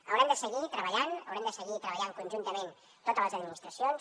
haurem de seguir treballant haurem de seguir treballant conjuntament totes les administracions